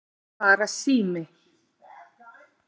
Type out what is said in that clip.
Ekki bara sími